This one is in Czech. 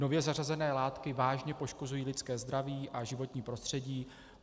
Nově zařazené látky vážně poškozují lidské zdraví a životní prostředí.